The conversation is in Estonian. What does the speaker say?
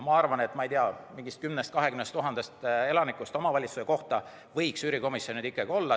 Ma arvan, et alates mingist 10 000 või 20 000 elanikust omavalitsuses võiks üürikomisjonid ikkagi olla.